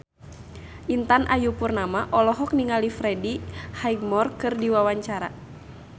Intan Ayu Purnama olohok ningali Freddie Highmore keur diwawancara